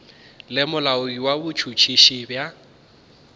le molaodi wa botšhotšhisi bja